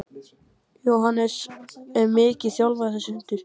Jóhannes: Er hann mikið þjálfaður þessi hundur?